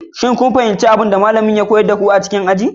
Kun fahimci abin da malamin ya koyar a cikin aji a yau?